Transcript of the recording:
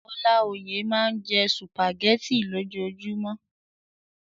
Ọláoyè máa n jẹ sùpàgẹ̀tì lojumọ.